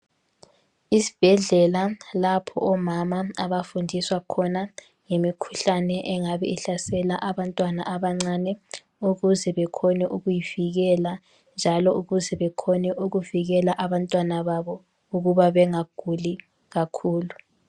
Izibhedlela lapho omama abafundiswa khona ngemikhuhlane engabe ihlasela abantwana abancane ukuze bekhone ukuyivikela njalo ukuze bekhone ukuvikela abantwana babo ukuba bengaguli kakhulu.